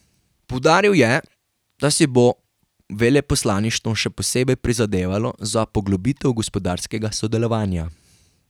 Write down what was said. Poudaril je, da si bo veleposlaništvo še posebej prizadevalo za poglobitev gospodarskega sodelovanja.